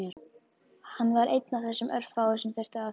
Hann var einn af þessum örfáu sem þurftu að þjást.